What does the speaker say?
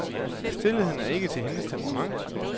Stilheden er ikke til hendes temperament.